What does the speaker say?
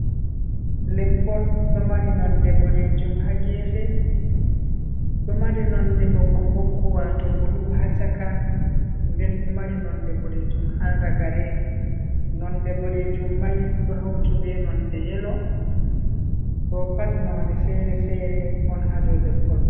Leppol ɗo mari nonde boɗeejum ha geefe, ɗo mari nonde ɓokko ɓokkowa waato blue haa caka, nden ɗo mari noone boɗeejum ha ragare nonde bodejum mai do hautube nonde yelo, boo pat noone sere-sere on haa dow leppol mai.